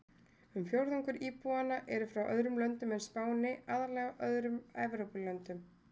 Um fjórðungur íbúanna eru frá öðrum löndum en Spáni, aðallega öðrum Evrópulöndum.